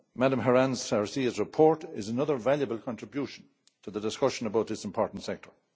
Ms Herranz García's report is another valuable contribution to the discussion about this important sector.